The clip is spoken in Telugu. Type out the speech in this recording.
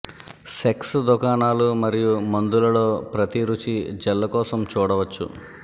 సెక్స్ దుకాణాలు మరియు మందుల లో ప్రతి రుచి జెల్లు కోసం చూడవచ్చు